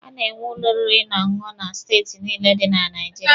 A ga-enwe ụlọ oriri na ọṅụṅụ na steeti niile dị na Naijiria.